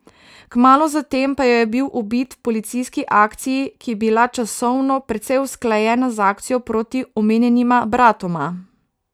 Kmalu za tem pa je bil ubit v policijski akciji, ki je bila časovno precej usklajena z akcijo proti omenjenima bratoma.